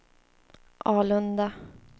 Alunda